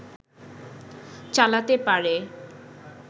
চালাতে পারে